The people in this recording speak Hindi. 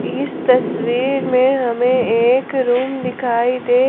इस तस्वीर में हमें एक रूम दिखाई दे--